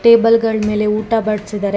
table ಗಳ್ ಮೇಲೆ ಊಟ ಬಡ್ಸಿದಾರೆ ಗ್ಲಾ--